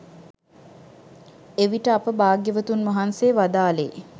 එවිට අප භාග්‍යවතුන් වහන්සේ වදාළේ